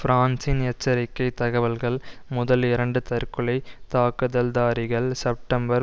பிரான்சின் எச்சரிக்கை தகவல்கள் முதல் இரண்டு தற்கொலை தாக்குதல்தாரிகள் செப்டம்பர்